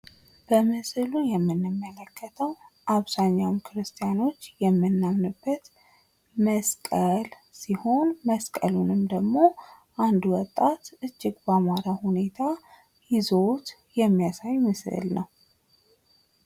በምስሉ ላይ የምንመለክተው አብዛኞቹ ሰወች የምናምንበት መስቀል ሲሆን መስቀሉንም ደግሞ አንዱ ወጣት እጅግ በአማረ ሁኔታ ይዞት የሚያሳይ ምስል ነው።